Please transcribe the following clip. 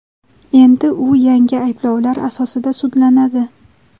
Endi u yangi ayblovlar asosida sudlanadi.